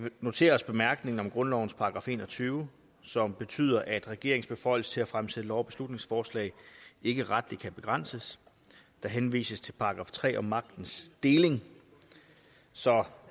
noterer os bemærkningen om grundlovens § en og tyve som betyder at regeringens beføjelse til at fremsætte lov og beslutningsforslag ikke retligt kan begrænses der henvises til § tre om magtens deling så